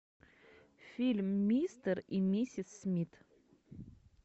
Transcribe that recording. фильм мистер и миссис смит